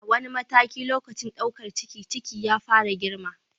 A wani mataki a lokacin ɗaukar ciki, ciki ya fara girma.